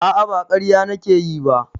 A'a ba ƙarya nake yi ba